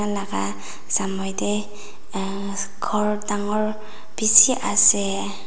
laka samnae tae ghor dangor bishi ase.